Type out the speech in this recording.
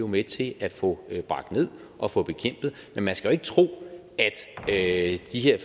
med til at få bragt ned og få bekæmpet men man skal jo ikke tro at de her